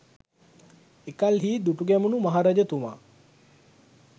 එකල්හි දුටුගැමුුණු මහරජතුමා